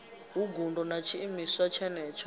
hu ngudo na tshiimiswa tshenetsho